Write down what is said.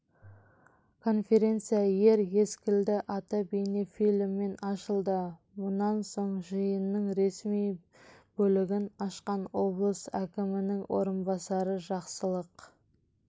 конференция ер ескелді атты бейнефильммен ашылды мұнан соң жиынның ресми бөлігін ашқан облыс әкімінің орынбасары жақсылық